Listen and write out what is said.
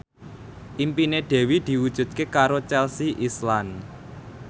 impine Dewi diwujudke karo Chelsea Islan